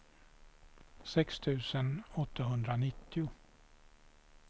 sex tusen åttahundranittio